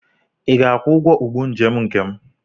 Ị ga-akwụ ụgwọ ụgbọ njem nke m?